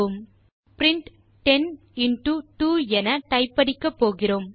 இப்போது நாம் print 10 into 2 என டைப் அடிக்கப்போகிறோம்